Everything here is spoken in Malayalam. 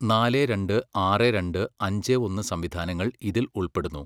നാലെ രണ്ട്, ആറെ രണ്ട്, അഞ്ചേ ഒന്ന് സംവിധാനങ്ങൾ ഇതിൽ ഉൾപ്പെടുന്നു.